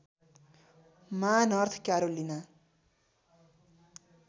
मा North Carolina